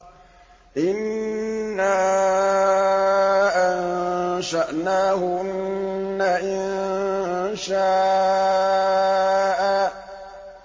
إِنَّا أَنشَأْنَاهُنَّ إِنشَاءً